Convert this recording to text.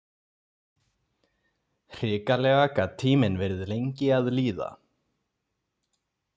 Hrikalega gat tíminn verið lengi að líða.